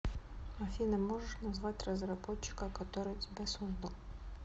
афина можешь назвать разработчика который тебя создал